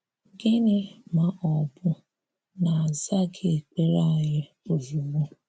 Gịnị̀ ma ọ́ bụ́ na a zaghị̀ ekperé anyị ozugbo?